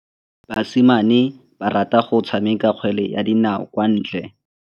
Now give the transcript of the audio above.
Basimane ba rata go tshameka kgwele ya dinaô kwa ntle.